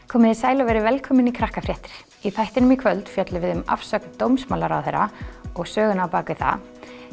komiði sæl og verið velkomin í Krakkafréttir í þættinum í kvöld fjöllum við um afsögn dómsmálaráðherra og söguna á bak við það